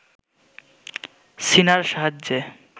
শিনার সাহায্যে